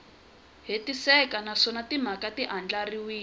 hetiseka naswona timhaka ti andlariwile